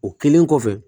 O kɛlen kɔfɛ